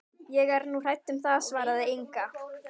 Ég er nú hrædd um það, svaraði Inga.